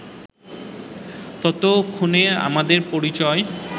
ততক্ষণে আমাদের পরিচয়